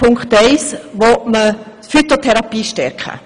In Punkt eins möchte man die Phytotherapie stärken.